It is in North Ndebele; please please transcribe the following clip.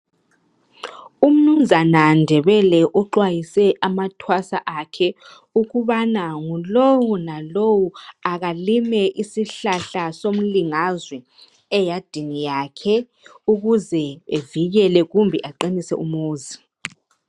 Umnumzana Ndebele uxwayise amathwasa akhe ukubana ngulo lalowo akalimi isihlahla somlingazwe eyadini yakhe ukuze evikele kumbe aqinise umuzi.